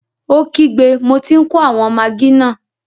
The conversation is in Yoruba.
Ó kígbe, mo tí n kó àwọn magí náà!